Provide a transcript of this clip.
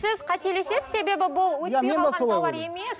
сіз қателесесіз себебі бұл өтпей қалған тауар емес